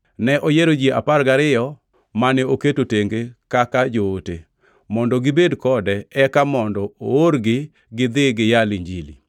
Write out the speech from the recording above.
Ne oyiero ji apar gariyo, mane oketo tenge kaka joote, mondo gibed kode eka mondo oorgi gidhi giyal Injili